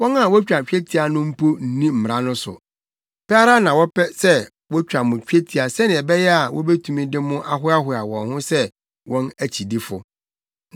Wɔn a wotwa twetia no mpo nni mmara no so. Pɛ ara na wɔpɛ sɛ wotwa mo twetia sɛnea ɛbɛyɛ a wobetumi de mo ahoahoa wɔn ho sɛ wɔn akyidifo.